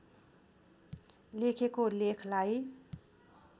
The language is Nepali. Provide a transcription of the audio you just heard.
लेखेको लेखलाई